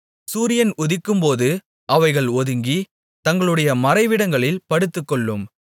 சூரியன் உதிக்கும்போது அவைகள் ஒதுங்கி தங்களுடைய மறைவிடங்களில் படுத்துக்கொள்ளும்